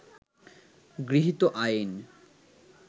গৃহীত আইন